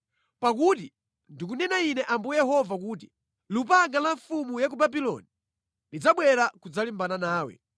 “ ‘Pakuti ndikunena Ine Ambuye Yehova kuti, “ ‘Lupanga la mfumu ya ku Babuloni lidzabwera kudzalimbana nawe.